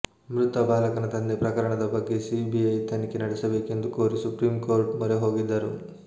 ಮೃತ ಬಾಲಕನ ತಂದೆ ಪ್ರಕರಣದ ಬಗ್ಗೆ ಸಿಬಿಐ ತನಿಖೆ ನಡೆಸಬೇಕೆಂದು ಕೋರಿ ಸುಪ್ರೀಂಕೋರ್ಟ್ ಮೊರೆ ಹೋಗಿದ್ದರು